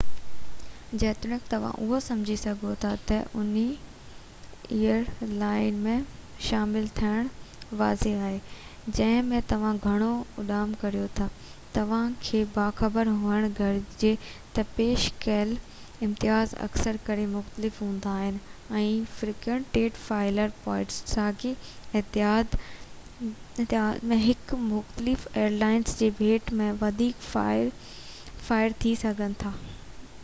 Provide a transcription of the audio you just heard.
جيتوڻيڪ توهان اهو سمجهي سگهو ٿا ته انهي ايئر لائن ۾ شامل ٿيڻ واضع آهي جنهن ۾ توهان گهڻو اڏام ڪريو ٿا توهان کي باخبر هئڻ گهرجي ته پيش ڪيل امتياز اڪثر ڪري مختلف هوندا آهن ۽ فريڪوينٽ فلائر پوائنٽس ساڳئي اتحاد ۾ هڪ مختلف ايئر لائن جي ڀيٽ ۾ وڌيڪ وافر ٿي سگهن ٿا